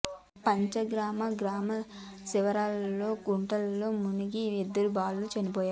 పంచగామ గ్రామ శివారులోని కుంటలో మునిగి ఇద్దరు బాలురు చనిపోయారు